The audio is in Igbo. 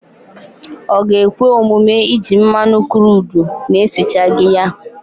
Ọ ga-ekwe omume iji mmanụ kruudu na-esichaghị ya?